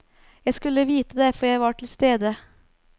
Jeg skulle vite det, for jeg var til stede.